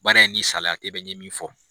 Baara in ni salaya te bɛn. N ye min fɔ.